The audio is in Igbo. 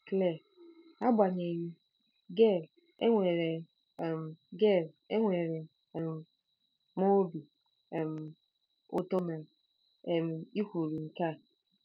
Claire: Agbanyeghị, Gail, enwere um Gail, enwere um m obi um ụtọ na ị um kwuru nke a.